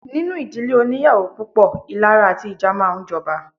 Nínú ìdílé óníyàwó púpọ̀, ìlara àti ìjà máa ń jọba.